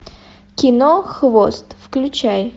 кино хвост включай